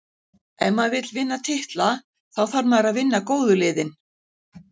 Ef maður vill vinna titla, þá þarf maður að vinna góðu liðin.